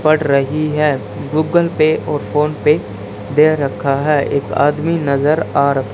पढ़ रही है गूगल पे और फोन पे दे रखा है एक आदमी नजर आ रहा--